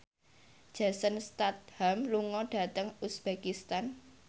Jason Statham lunga dhateng uzbekistan